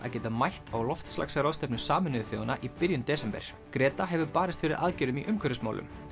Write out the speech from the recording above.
að geta mætt á loftslagsráðstefnu Sameinuðu þjóðanna í byrjun desember hefur barist fyrir aðgerðum í umhverfismálum